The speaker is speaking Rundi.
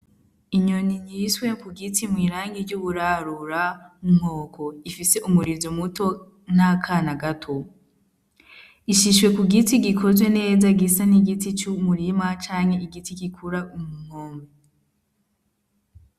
Inyoni ryiswe ku giti mw'irangi ry'uburarura unkoko ifise umurizo muto n'akana gato ishishwe ku giti gikozwe neza gisa n'igiti c'umurima canke igiti gikura umukombe.